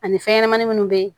Ani fɛnɲɛnamanin minnu bɛ